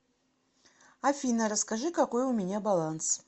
афина расскажи какой у меня баланс